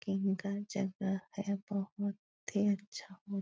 जगह है बहुत ही अच्छा मो --